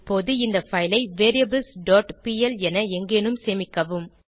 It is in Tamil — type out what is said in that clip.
இப்போது இந்த பைல் ஐ variablesபிஎல் என எங்கேனும் சேமிக்கவும்